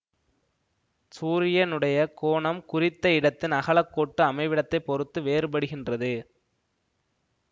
சூரியனுடைய கோணம் குறித்த இடத்தின் அகலக்கோட்டு அமைவிடத்தைப் பொறுத்து வேறுபடுகின்றது